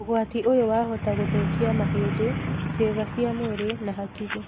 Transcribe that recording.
ũgati ũyũ wa hota gũthũkia mahĩndĩ, ciĩga cia mwĩrĩ na hakili